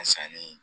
Sanni